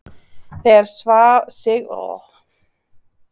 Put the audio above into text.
Þegar Sigvarður hafði verið kjörinn setti Jón Arason innsigli sitt á kjörbréfið.